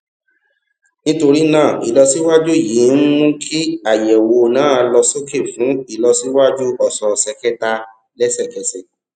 nítorí náà ìlọsíwájú yìí ń mú kí àyẹwò náà lọ sókè fún ìlọsíwájú òsòòsè kẹta lẹsẹkẹsẹ